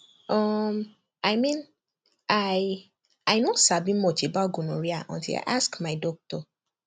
uhm i mean i i no sabi much about gonorrhea until i ask my doctor